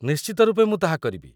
ନିଶ୍ଚିତ ରୂପେ ମୁଁ ତାହା କରିବି।